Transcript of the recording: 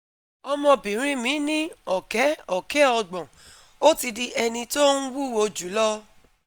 ọmọbìnrin mi ní ọ̀kẹ́ ọ̀kẹ́ Ogbon, ó ti di ẹni tó ń wúwo jù lọ